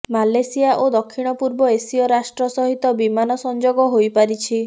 Malaysia ଓ ଦକ୍ଷିଣ ପୂର୍ବ ଏସୀୟ ରାଷ୍ଟ ସହିତ ବିମାନ ସଂଯୋଗ ହୋଇପାରିଛି